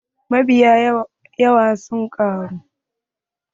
Mabiyan Hauwa sun ƙaru.